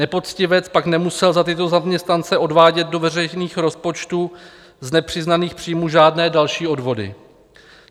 Nepoctivec pak nemusel za tyto zaměstnance odvádět do veřejných rozpočtů z nepřiznaných příjmů žádné další odvody.